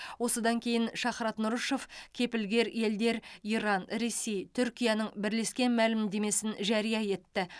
осыдан кейін шахрат нұрышев кепілгер елдер иран ресей түркияның бірлескен мәлімдемесін жария етті